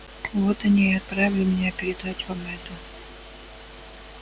вот они и отправили меня передать вам это